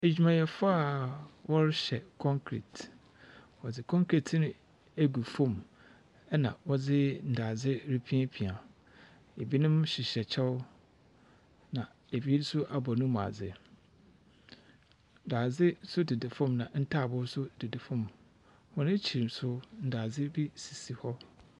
Adwumayɛfo a wɔrehyɛ kɔnkret. Wɔdze kɔnkret no agu fɔm. Ɛna ɔde dadze repiapia. Ebinom hyehyɛ kyɛw. Na ebi nso abɔ ne mu adze. Dadze nso deda fɔm na taaboo nso deda fɔm. Wɔn akyiri nso, dazde bi sisi hɔ.